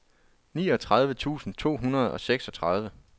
niogtredive tusind to hundrede og seksogtredive